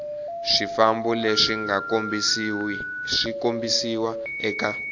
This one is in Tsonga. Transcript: swifambo leswi nga kombisiwa eka